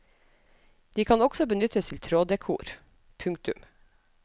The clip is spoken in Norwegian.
De kan også benyttes til tråddekor. punktum